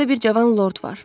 Orada bir cavan lord var.